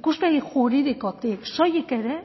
ikuspegi juridikotik soilik ere